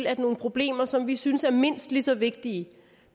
at nogle problemer som vi synes er mindst lige så vigtige